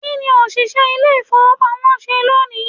kiní oṣiṣẹ ilé ìfíwepámọ ṣe loní?